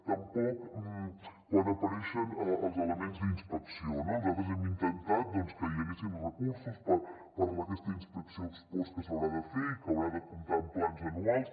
tampoc quan apareixen els elements d’inspecció no nosaltres hem intentat que hi haguessin recursos per a aquesta inspecció ex post que s’haurà de fer i que haurà de comptar amb plans anuals